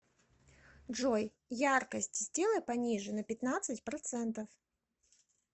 джой яркость сделай пониже на пятнадцать процентов